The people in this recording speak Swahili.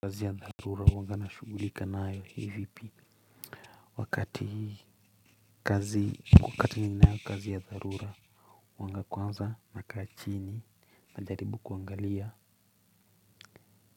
Kazi ya dharura huwanga na shughulika nayo kivipi? Wakati kazi wakati ninayo kazi ya dharura huanga kwanza nakaa chini najaribu kuangalia